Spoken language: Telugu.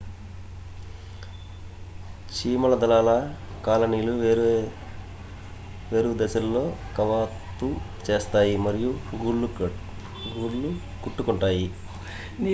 చీమల దళాల కాలనీలు వేర్వేరు దశలలో కవాతు చేస్తాయి మరియు గూళ్ళు కట్టుకుంటాయి